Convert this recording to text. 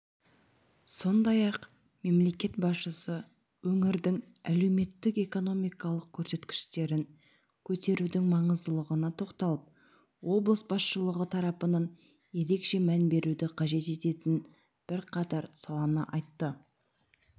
сондай-ақ мемлекет басшысы өңірдің әлеуметтік-экономикалық көрсеткіштерін көтерудің маңыздылығына тоқталып облыс басшылығы тарапынан ерекше мән беруді қажет ететін бірқатар саланы айтты